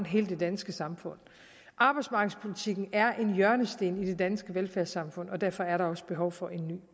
hele det danske samfund arbejdsmarkedspolitikken er en hjørnesten i det danske velfærdssamfund og derfor er der også behov for en